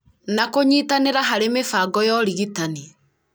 na kũnyitanĩra harĩ mĩbango ya ũrigitani